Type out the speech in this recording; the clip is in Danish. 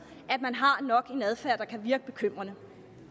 at man har en adfærd der kan virke bekymrende